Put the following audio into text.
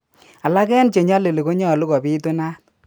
Alak en chelali konyalu ko bitunat.